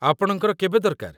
ଆପଣଙ୍କର କେବେ ଦରକାର?